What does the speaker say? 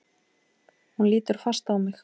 Hún lítur fast á mig.